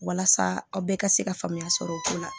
Walasa aw bɛɛ ka se ka faamuya sɔrɔ o ko la